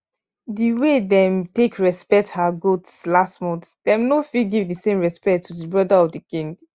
the way them take respect her goats last month them no fit give the same respect to the brother of the king